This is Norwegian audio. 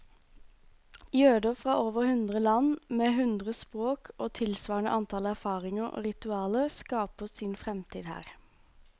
Jøder fra over hundre land, med hundre språk og tilsvarende antall erfaringer og ritualer, skaper sin fremtid her.